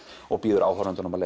og býður áhorfandanum að